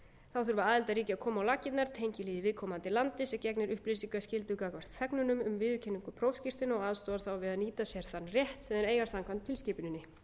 þá þurfa aðildarríki að koma á laggirnar tengilið í viðkomandi landi sem gegnir upplýsingaskyldu gagnvart þegnunum um viðurkenningu prófskírteina og aðstoðar þá við að nýta sér þann rétt sem þeir eiga samkvæmt tilskipuninni loks mun